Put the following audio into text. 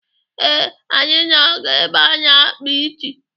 Ee, anyị na-aga ebe a na-akpa isi.